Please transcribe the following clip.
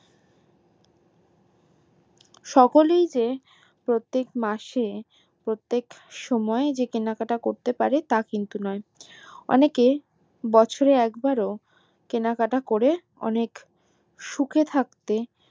সকলেই যে প্রত্যেক মাসে প্রত্যেক সময় যে কেনাকাটা করতে পারে তা কিন্তু নোই অনেকে বছর এ একবার ও কেনাকাটা করে অনেক সুখে থাকতে